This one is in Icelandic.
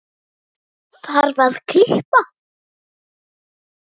Svo þarf að kippa.